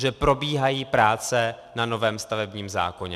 Že probíhají práce na novém stavebním zákoně.